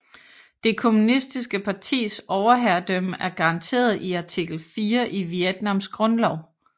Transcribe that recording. Det kommunistiske partis overherredømme er garanteret i artikel 4 i Vietnams grundlov